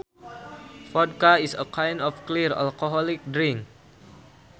Vodka is a kind of clear alcoholic drink